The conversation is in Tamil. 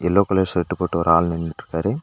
எல்லோ கலர் ஷர்ட்டு போட்ட ஒரு ஆள் நின்னுட்ருக்காரு.